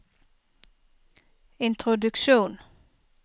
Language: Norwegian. introduksjon